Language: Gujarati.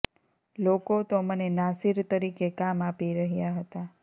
લોકો તો મને નાસિર તરીકે કામ આપી રહ્યા હતાં